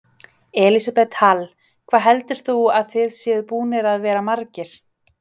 Elísabet Hall: Hvað heldur þú að það séu búnir að vera margir?